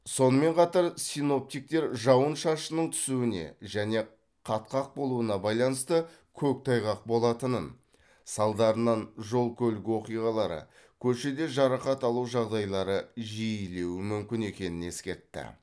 сонымен қатар синоптиктер жауын шашынның түсуіне және қатқақ болуына байланысты көктайғақ болатынын салдарынан жол көлік оқиғалары көшеде жарақат алу жағдайлары жиілеуі мүмкін екенін ескертті